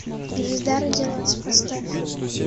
звезда родилась поставь